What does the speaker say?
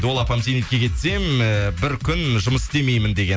ол апам зейнетке кетсем э бір күн жұмыс істемеймін деген